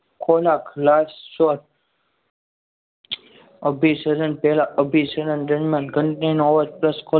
ખોરાક last short અભિસરણ પહેલાં અભિસરણમાં ઘંટી નો અવાજ પ્લસ ખોરાક